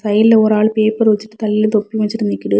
சைடுல ஒரு ஆள் பேப்பர் வச்சுட்டு தலையிலெ தொப்பி வச்சுட்டு நிக்குது.